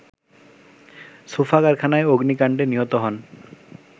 sofa কারখানায় অগ্নিকাণ্ডে নিহত হন